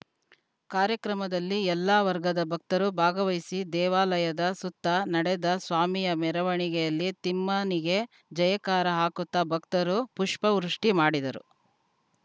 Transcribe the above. ಕಾರ್ಯಕ್ರಮದಲ್ಲಿ ಎಲ್ಲ ವಗರ್‍ದ ಭಕ್ತರು ಭಾಗವಹಿಸಿ ದೇವಾಲಯದ ಸುತ್ತ ನಡೆದ ಸ್ವಾಮಿಯ ಮೆರವಣಿಗೆಯಲ್ಲಿ ತಿಮ್ಮನಿಗೆ ಜಯಕಾರ ಹಾಕುತ್ತಾ ಭಕ್ತರು ಪುಷ್ಪವೃಷ್ಟಿಮಾಡಿದರು